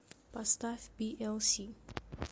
поставь пиэлси